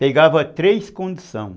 Pegava três conduções